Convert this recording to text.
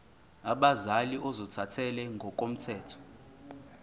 abazali ozothathele ngokomthetho